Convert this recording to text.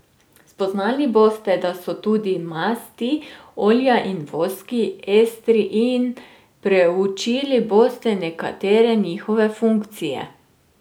Spoznali boste, da so tudi masti, olja in voski estri, in preučili boste nekatere njihove funkcije.